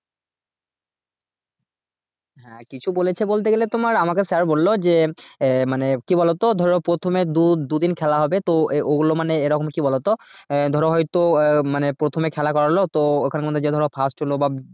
হ্যাঁ কিছু বলছে বলতে গেলে তোমার আমাকে sir বললো যে আহ মানে কি বলতো? ধরো প্রথমে দু দুদিন খেলা হবে তো এ ও গুলো মানে এরকম কি বলতো? আহ ধরো হয় তো আহ মানে প্রথমে খেলা করালো তো ওখানের মধ্যে যে ধরো first হলো বা